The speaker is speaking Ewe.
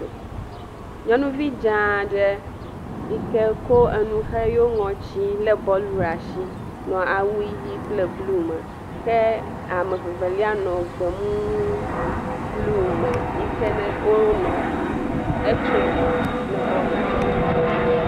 Nyɔnuvi dze aɖe yi ke ko enu xɔ eƒe ŋɔti le bɔlu ɖe asi nɔ awu ʋi kple blu me ke amevevelia nɔ gbemu blu me yi ke wonɔ etsom ne bɔl la.